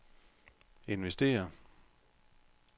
investere